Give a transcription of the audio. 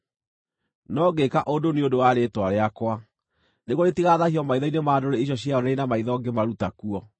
No ngĩĩka ũndũ nĩ ũndũ wa rĩĩtwa rĩakwa, nĩguo rĩtigathaahio maitho-inĩ ma ndũrĩrĩ icio cieyoneire na maitho ngĩmaruta kuo.